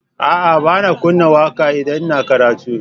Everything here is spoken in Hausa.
A'a, ba na kunna waƙa idan ina karatu.